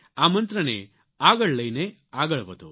આ મંત્રને આગળ લઇને આગળ વધો